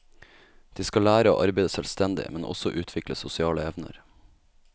De skal lære å arbeide selvstendig, men også utvikle sosiale evner.